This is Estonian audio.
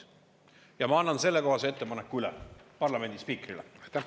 Ja ma annan sellekohase ettepaneku üle parlamendi spiikrile.